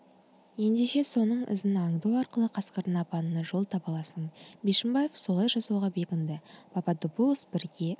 ендеше соның ізін аңду арқылы қасқырдың апанына жол таба аласың бишімбаев солай жасауға бекінді пападопулос бірге